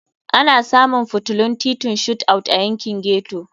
Ana samun fitilun titin Shot Out a yankin ghetto.